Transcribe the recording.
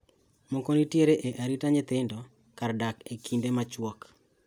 Moko nitiere e arita nyithindo, kar dak e kinde machuok.